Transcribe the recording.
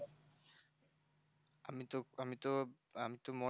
তো আমি তো আমি তো